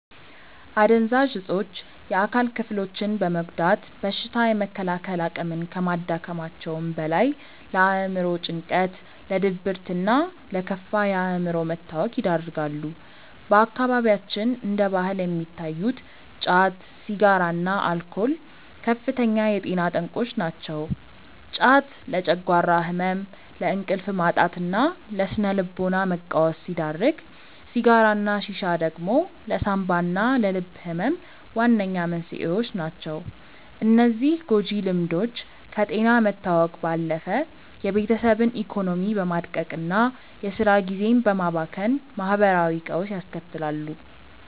አደንዛዥ እፆች የአካል ክፍሎችን በመጉዳት በሽታ የመከላከል አቅምን ከማዳከማቸውም በላይ፣ ለአእምሮ ጭንቀት፣ ለድብርትና ለከፋ የአእምሮ መታወክ ይዳርጋሉ። በአካባቢያችን እንደ ባህል የሚታዩት ጫት፣ ሲጋራና አልኮል ከፍተኛ የጤና ጠንቆች ናቸው። ጫት ለጨጓራ ህመም፣ ለእንቅልፍ ማጣትና ለስነ-ልቦና መቃወስ ሲዳርግ፣ ሲጋራና ሺሻ ደግሞ ለሳንባና ለልብ ህመም ዋነኛ መንስኤዎች ናቸው። እነዚህ ጎጂ ልምዶች ከጤና መታወክ ባለፈ የቤተሰብን ኢኮኖሚ በማድቀቅና የስራ ጊዜን በማባከን ማህበራዊ ቀውስ ያስከትላሉ።